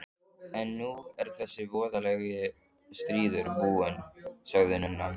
En nú er þessi voðalegi stríður búinn, sagði nunnan.